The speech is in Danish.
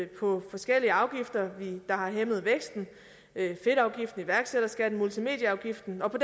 på forskellige afgifter der har hæmmet væksten fedtafgiften iværksætterskatten multimedieafgiften og på